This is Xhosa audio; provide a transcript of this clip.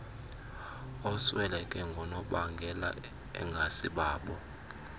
osweleke ngoonobangela engasibabo